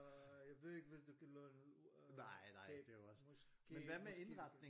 Øh jeg ved ikke hvis du kan låne øh tape måske måske